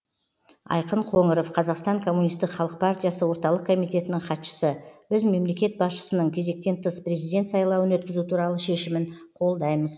айқын қоңыров қазақстан коммунистік халық партиясы орталық комитетінің хатшысы біз мемлекет басшысының кезектен тыс президент сайлауын өткізу туралы шешімін қолдаймыз